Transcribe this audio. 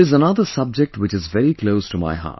There is another subject which is very close to my heart